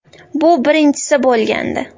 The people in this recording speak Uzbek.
Bu birinchisi bo‘lgandi.